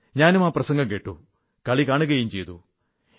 ഞാനും ആ പ്രസംഗംകേട്ടു കളി കാണുകയും ചെയ്തു